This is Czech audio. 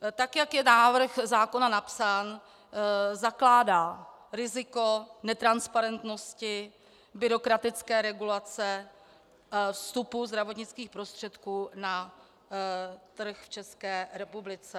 Tak jak je návrh zákona napsán, zakládá riziko netransparentnosti, byrokratické regulace vstupu zdravotnických prostředků na trh v České republice.